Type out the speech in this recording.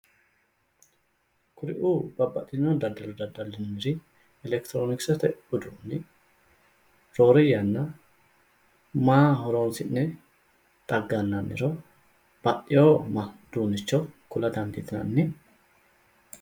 Kuri"u babbaxxino daddalo dadda'linanniri elekitiroonisete uduunni roore yanna maa horonsi'ne xaggannanniro ba'eyo uduunnicho kula dandiitinanni?